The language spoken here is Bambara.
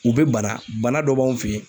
U bɛ bana , bana dɔ b'anw fɛ yen.